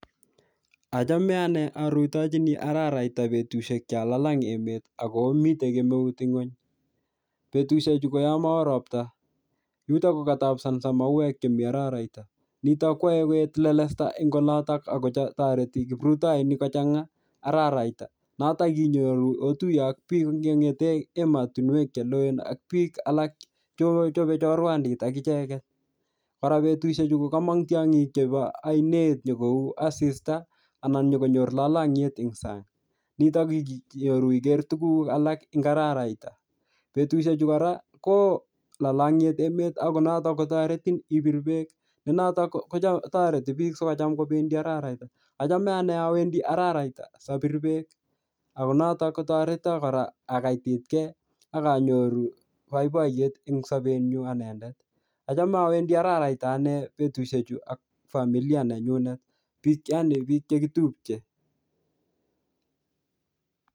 Achame ane arutochini araraita betushek cho lalang emet ako mitei kemeut nguny. Betushek chu ko yomo oo ropta. Yutok ko katapsansa mauek che mii araraita. Nitok kwae koet lelesta eng olotok akotoreti kiprutoinik kochanga araraita. Notok inyoru, otuye ak biik che ngete emotunwek che loen ak biik alak che ochope chorwandit ak icheket. Kora betushek chu ko komong tiongik chebo ainet nyikou asista anan nyikonyor lalangiet eng sang. Nitok inyoru iker tuguk alak eng araraita. Betushek chu kora, kooo lalangiet emet akotoretin ipir beek, ne notok kotoreti biik sikocham kobendi araraita. Achame ane awendi araraita sapir beek ako notok kotoreto kora akaititkey akanyoru boiboiyet eng sobet nyu anendet. Acham awendi araraita ane betushek chu ak familia nenyunet, yaani biik che kitupche.